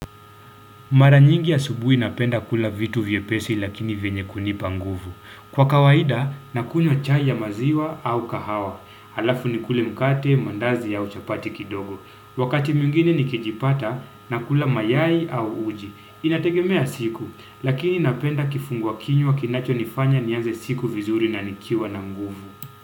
Maranyingi asubuhi napenda kula vitu vyepesi lakini vyenye kunipa nguvu. Kwa kawaida, nakunywa chai ya maziwa au kahawa. Halafu nikule mkate, mandazi au chapati kidogo. Wakati mwingine nikijipata, nakula mayai au uji. Inategemea siku, lakini napenda kifungwa kinywa kinachonifanya nianze siku vizuri na nikiwa na nguvu.